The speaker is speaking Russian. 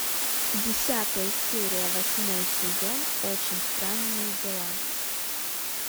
десятая серия восьмой сезон очень странные дела